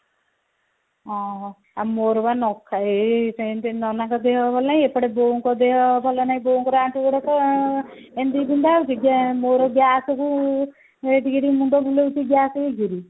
ଆଁ ମୋର ବା ଏଇ ସେଇନ୍ତେ ନନାଙ୍କ ଦେହ ଭଲ ନାହିଁ ଏପଟେ ବୋଉଙ୍କ ଦେହ ଭଲ ନାହିଁ ବୋଉଙ୍କର ତ ଆଣ୍ଠୁ ଗୋଡ ତ ଆଁ ଏମିତି ବିନ୍ଧା ହଉଛି ବୋଉ ର gas କୁ ଟିକେ ଟିକେ ମୁଣ୍ଡ ବୁଲଉଛି gas ଯୋଗୁରୁ